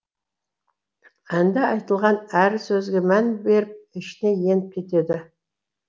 әнде айтылған әр сөзге мән беріп ішіне еніп кетеді